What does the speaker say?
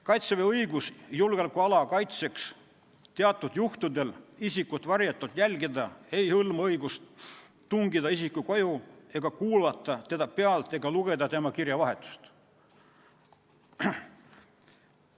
Kaitseväe õigus julgeolekuala kaitseks teatud juhtudel isikut varjatult jälgida ei hõlma õigust tungida isiku koju, kuulata teda pealt ega lugeda tema kirjavahetust.